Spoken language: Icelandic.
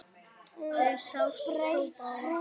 Þú sást þó Bárð?